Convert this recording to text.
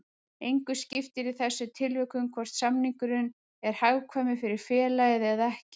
Engu skiptir í þessum tilvikum hvort samningurinn er hagkvæmur fyrir félagið eða ekki.